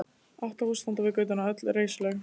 Átta hús standa við götuna, öll reisuleg.